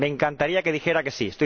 Me encantaría que dijera que sí.